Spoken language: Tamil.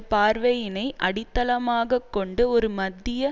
பார்வையினை அடித்தளமாக்கொண்டு ஒரு மத்திய